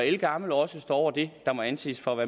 ældgammel også står over det der må anses for at